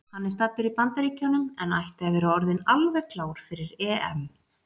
Hann er staddur í Bandaríkjunum en ætti að vera orðinn alveg klár fyrir EM.